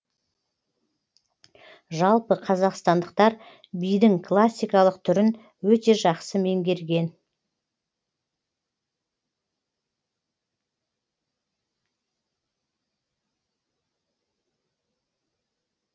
жалпы қазақстандықтар бидің классикалық түрін өте жақсы меңгерген